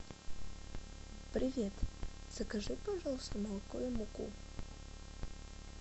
привет закажи пожалуйста молоко и муку